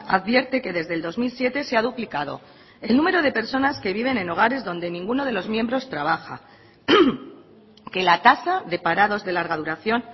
advierte que desde el dos mil siete se ha duplicado el número de personas que viven en hogares donde ninguno de los miembros trabaja que la tasa de parados de larga duración